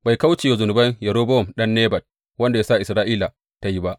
Bai kauce wa zunuban Yerobowam ɗan Nebat, wanda ya sa Isra’ila ta yi ba.